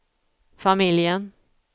familjen